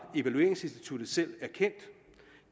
evalueringsinstitut selv erkendt